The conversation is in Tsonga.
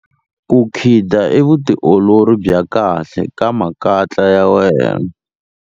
Ku khida i vutiolori bya kahle ka makatla ya wena.